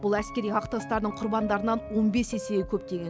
бұл әскери қақтығыстардың құрбандарынан он бес есеге көп деген